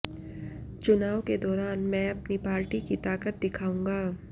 चुनाव के दौरान मैं अपनी पार्टी की ताकत दिखाउंगा